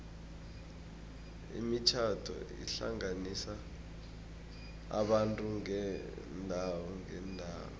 imitjhado ihlanganisa abantu beendawo ngeendawo